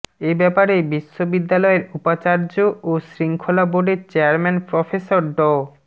এ ব্যাপারে বিশ্ববিদ্যালয়ের উপাচার্য ও শৃঙ্খলা বোর্ডের চেয়ারম্যান প্রফেসর ড